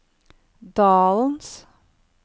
dalens